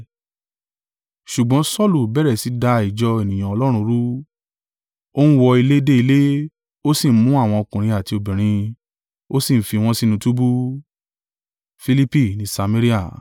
Ṣùgbọ́n Saulu bẹ̀rẹ̀ sí da ìjọ ènìyàn Ọlọ́run rú. Ó ń wọ ilé dé ilé, ó sì ń mú àwọn ọkùnrin àti obìnrin, ó sì ń fi wọn sínú túbú.